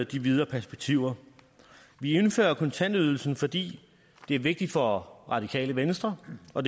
de videre perspektiver vi indfører kontantydelsen fordi det er vigtigt for radikale venstre og